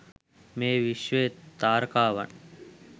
මේ විශ්වයේ තාරකාවන්